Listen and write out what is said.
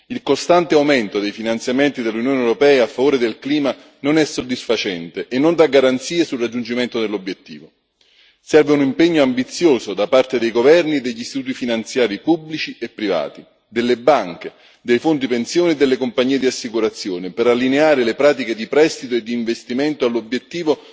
Il costante aumento dei finanziamenti dell'Unione europea a favore del clima non è soddisfacente e non dà garanzie sul raggiungimento dell'obiettivo serve un impegno ambizioso da parte dei governi e degli studi finanziari pubblici e privati, delle banche, dei fondi pensione e delle compagnie di assicurazione per allineare le pratiche di prestito e di investimento all'obiettivo